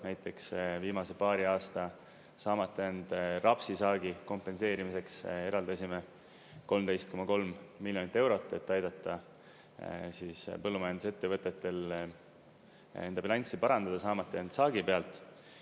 Näiteks viimase paari aasta saamata jäänud rapsisaagi kompenseerimiseks eraldasime 13,3 miljonit eurot, et aidata põllumajandusettevõtetel enda bilanssi parandada, saamata jäänud saagi pealt.